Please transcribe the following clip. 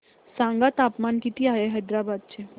सांगा तापमान किती आहे हैदराबाद चे